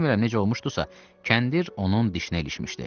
Bilmirəm necə olmuşdusa, kəndir onun dişinə ilişmişdi.